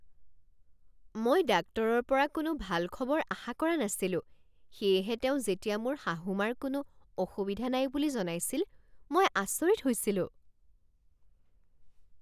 মই ডাক্তৰৰ পৰা কোনো ভাল খবৰ আশা কৰা নাছিলো সেয়েহে তেওঁ যেতিয়া মোৰ শাহু মাৰ কোনো অসুবিধা নাই বুলি জনাইছিল মই আচৰিত হৈছিলোঁ।